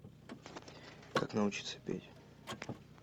как научиться петь